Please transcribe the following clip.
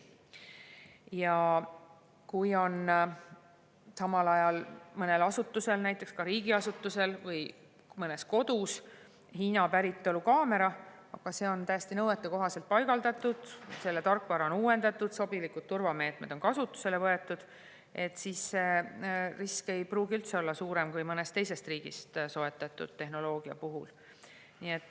Ja kui on samal ajal mõnel asutusel, näiteks riigiasutusel või mõnes kodus Hiina päritolu kaamera, aga see on täiesti nõuetekohaselt paigaldatud, selle tarkvara on uuendatud, sobilikud turvameetmed on kasutusele võetud, siis ei pruugi risk olla üldse suurem kui mõnest teisest riigist soetatud tehnoloogia puhul.